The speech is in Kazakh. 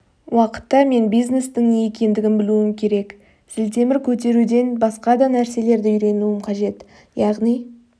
уақытта мен бизнестің не екендігін білуім керек зілтемір көтеруден басқа да нәрселерді үйренуім қажет яғни